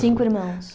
Cinco irmãos.